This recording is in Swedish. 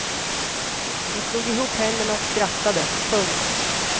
Hon slog ihop händerna och skrattade. punkt